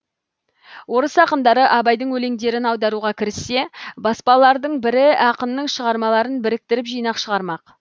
орыс ақындары абайдың өлеңдерін аударуға кіріссе баспалардың бірі ақынның шығармаларын біріктіріп жинақ шығармақ